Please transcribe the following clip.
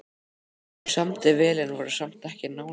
Þeim samdi vel en voru samt ekki nánar.